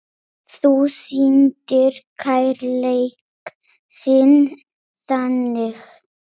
Þú sýndir kærleik þinn þannig.